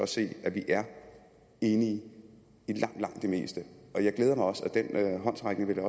se at vi er enige i langt langt det meste og jeg glæder mig også over den håndsrækning vil jeg